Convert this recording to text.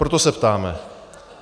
Proto se ptáme.